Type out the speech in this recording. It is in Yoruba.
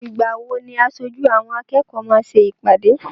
Ìgbà wo ni aṣojú àwọn akẹ́kọ̀ọ́ máa ṣe ìpàdé?